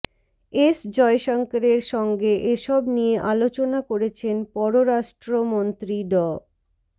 S জয়শঙ্করের সঙ্গে এসব নিয়ে আলোচনা করেছেন পররাষ্ট্রমন্ত্রী ড